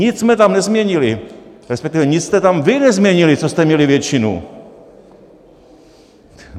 Nic jsme tam nezměnili, respektive nic jste tam vy nezměnili, co jste měli většinu.